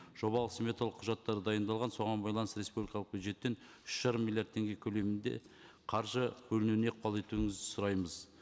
жобалық сметалық құжаттар дайындалған соған байланысты республикалық бюджеттен үш жарым миллиард теңге көлемінде қаржы бөлінуіне ықпал етуіңізді сұраймыз